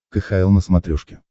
кхл на смотрешке